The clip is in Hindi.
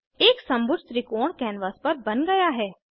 एक समभुज त्रिकोण कैनवास पर बन गया है